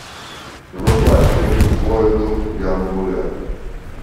врубай фильм злой дух ямбуя